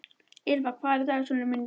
Ýlfa, hvað er í dagatalinu mínu í dag?